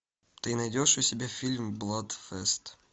ты найдешь у себя фильм бладфест